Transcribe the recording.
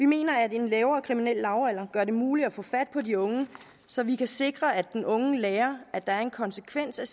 mener at en lavere kriminel lavalder gør det muligt at få fat på de unge så vi kan sikre at den unge lærer at der er en konsekvens af